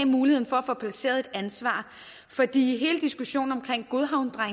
muligheden for at få placeret et ansvar for i hele diskussionen om